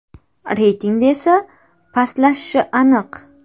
Reytingda esa pastlashishi aniq.